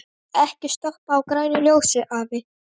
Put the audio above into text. Ekki stoppa á grænu ljósi, afi!